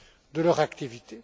de leur activité.